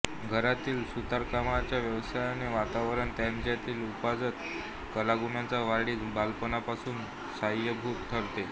घरातील सुतारकामाच्या व्यवसायाचे वातावरण त्यांच्यातील उपजत कलागुणांच्या वाढीस बालपणापासून सहाय्यभूत ठरले